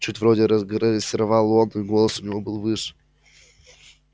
чуть вроде грассировал он и голос у него был выше